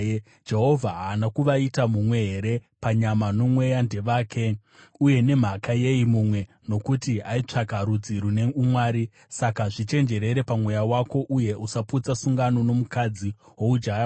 Jehovha haana kuvaita mumwe here? Panyama nomweya ndevake. Uye nemhaka yei mumwe? Nokuti aitsvaka rudzi rune umwari. Saka zvichenjerere pamweya wako, uye usaputsa sungano nomukadzi woujaya hwako.